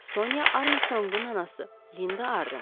Sonya Armstrongun anası Linda Arden.